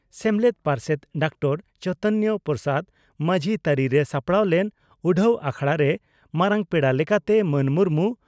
ᱥᱮᱢᱞᱮᱫ ᱯᱟᱨᱥᱮᱛ ᱰᱚᱠᱴᱚᱨ ᱪᱚᱭᱛᱚᱱᱭᱚ ᱯᱨᱚᱥᱟᱫᱽ ᱢᱟᱡᱷᱤ ᱛᱟᱹᱨᱤᱨᱮ ᱥᱟᱯᱲᱟᱣ ᱞᱮᱱ ᱩᱰᱷᱟᱹᱣ ᱟᱠᱷᱲᱟᱨᱮ ᱢᱟᱨᱟᱝ ᱯᱮᱲᱟ ᱞᱮᱠᱟᱛᱮ ᱢᱟᱱ ᱢᱩᱨᱢᱩ